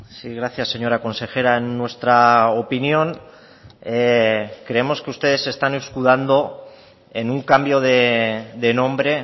sí gracias señora consejera en nuestra opinión creemos que ustedes se están escudando en un cambio de nombre